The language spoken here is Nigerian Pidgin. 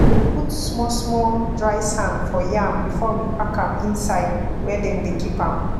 we dey put small small dry sand for yam before we pack am inside where dem de keep am